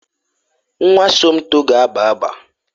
Nwa Somto ga-agba agba.